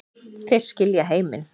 Þeir skilja heiminn